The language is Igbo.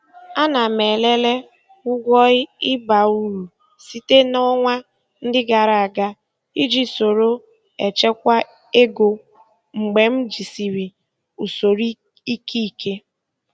Ana m elele ụgwọ ịba uru site na ọnwa ndị gara aga iji soro echekwa ego mgbe m jisịrị usoro ike ike.